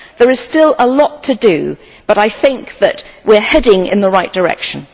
There is still a lot to do, but I think that we are heading in the right direction.